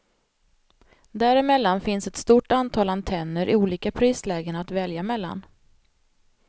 Däremellan finns ett stort antal antenner i olika prislägen att välja mellan.